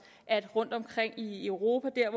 at vi rundtomkring i europa